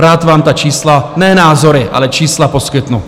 Rád vám ta čísla, ne názory, ale čísla, poskytnu.